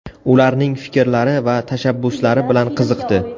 Ularning fikrlari va tashabbuslari bilan qiziqdi.